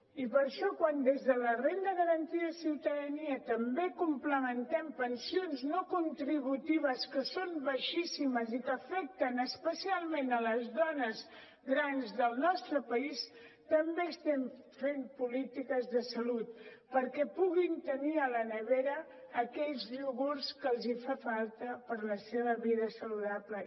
i per això quan des de la renda garantida de ciutadania també complementem pensions no contributives que són baixíssimes i que afecten especialment les dones grans del nostre país també estem fent polítiques de salut perquè puguin tenir a la nevera aquells iogurts que els fan falta per la seva vida saludable